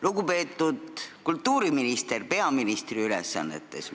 Lugupeetud kultuuriminister peaministri ülesannetes!